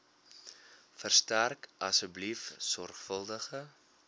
verstrek asseblief sorgvuldige